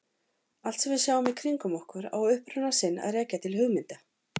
Allt sem við sjáum í kringum okkur á uppruna sinn að rekja til hugmynda.